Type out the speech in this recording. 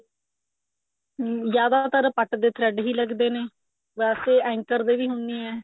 ਹਮ ਜਿਆਦਾਤਰ ਪੱਟ ਦੇ thread ਹੀ ਲੱਗਦੇ ਨੇ ਵੈਸੇ anchor ਦੇ ਵੀ ਹੁੰਨੇ ਐ